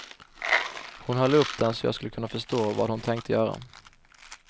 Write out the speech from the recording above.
Hon höll upp den så jag skulle förstå vad hon tänkte göra.